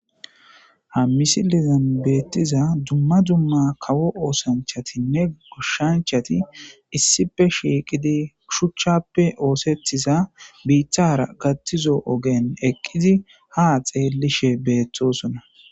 Haa missilezanni bettiza dumma dumma kawo oththanichattinne goshshanichatti issippe shiqqiddi shuchchappe oththetido bitara gaththizo ogenni eqqid haa xeellishshe betosona.